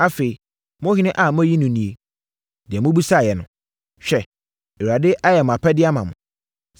Afei, mo ɔhene a moayi no nie; deɛ mobisaeɛ no. Hwɛ, Awurade ayɛ mo apɛdeɛ ama mo.